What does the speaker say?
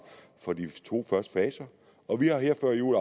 for de to første faser og vi har her før jul